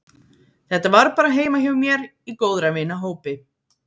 Þetta var bara heima hjá mér í góðra vina hópi.